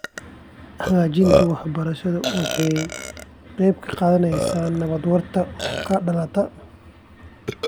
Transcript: Hagaajinta waxbarashada waxay qayb ka qaadanaysaa nabad waarta oo ka dhalata .